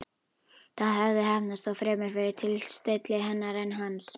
Það hafði heppnast, þó fremur fyrir tilstilli hennar en hans.